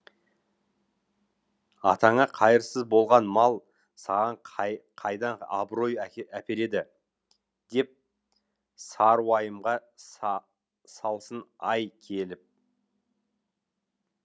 атаңа қайырсыз болған мал саған қайдан абырой әпереді деп сары уайымға салсын ай келіп